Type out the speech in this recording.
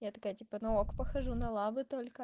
я такая типа ну ок похожу на лабы только